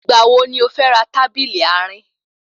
Ìgbà wo ni o fẹ́ ra tábìlì àárín?